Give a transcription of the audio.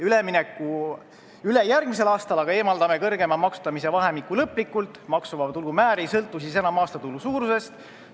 Ülejärgmisel aastal aga eemaldaksime suurema maksustamise vahemiku lõplikult, nii et maksuvaba tulu määr ei sõltuks enam aastatulu suurusest.